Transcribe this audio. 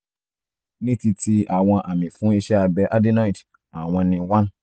ní ti ti àwọn àmì fún iṣẹ́ abẹ adenoid àwọn ni: 1